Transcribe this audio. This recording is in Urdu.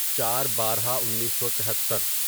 چار بارہ انیسو تہتر